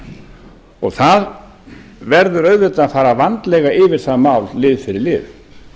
er umfangsmikil það verður auðvitað að fara vandlega yfir það mál lið fyrir lið